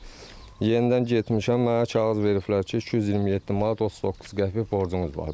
İndi yenidən getmişəm, mənə kağız veriblər ki, 227 manat 39 qəpik borcunuz var.